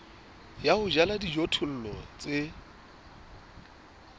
ya ho jala dijothollo tse